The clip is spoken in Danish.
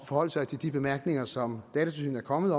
forholde sig til de bemærkninger som datatilsynet er kommet